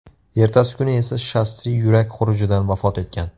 Ertasi kuni esa Shastri yurak xurujidan vafot etgan.